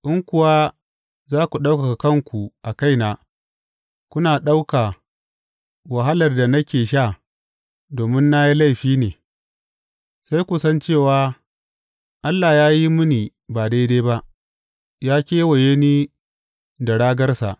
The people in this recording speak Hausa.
In kuwa za ku ɗaukaka kanku a kaina kuna ɗauka wahalar da nake sha domin na yi laifi ne, sai ku san cewa Allah ya yi mini ba daidai ba ya kewaye ni da ragarsa.